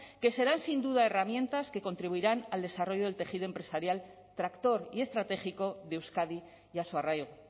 que serán sin duda herramientas que contribuirán al desarrollo del tejido empresarial tractor y estratégico de euskadi y a su arraigo